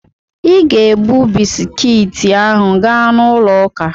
Ị ga-ebu bisikiiti ahụ gaa n'ụlọ ụka!